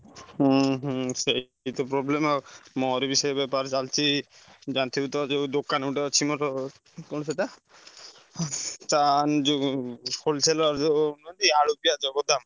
ହୁଁ ହୁଁ ସେଇ ତ problem ଆଉ ମୋର ବି ସେଇ ବେପାର ଚାଲିଛି ଜାଣିଥିବୁ ତ ଯୋଉ ଦୋକାନ ଗୋଟେ ଅଛି ମୋର କଣ ସେଇଟା ତାନ ଯୋଉ wholesaler ଯୋଉ ନୁହେଁ କି ଆଳୁ ପିଆଜ ଗୋଦାମ।